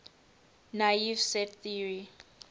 naive set theory